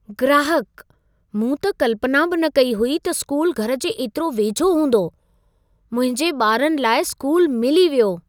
ग्राहकः "मूं त कल्पना बि न कई हुई त स्कूल घर जे एतिरे वेझो हूंदो। मुंहिंजे ॿारनि लाइ स्कूल मिली वियो।"